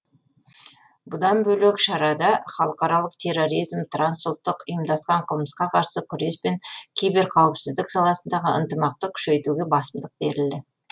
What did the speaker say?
бұдан бөлек шарада халықаралық терроризм трансұлттық ұйымдасқан қылмысқа қарсы күрес пен киберқауіпсіздік саласындағы ынтымақты күшейтуге басымдық берілді